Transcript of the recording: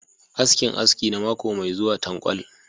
askinAski na mako mai zuwa tankwal.